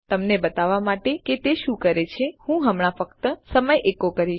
તમને બતાવવા માટે કે તે શું કરે છે હું હમણાં ફક્ત સમય એકો કરીશ